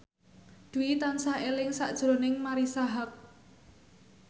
Dwi tansah eling sakjroning Marisa Haque